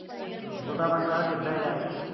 ਹੂੰ। ਸੋਡਾ ਪਿੰਡ ਤਾਂ ਹੁਣ ਟਿੱਬਿਆਂ ਚ ਆ ਗਿਆ।